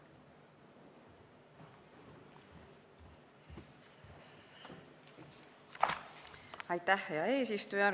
Hea eesistuja!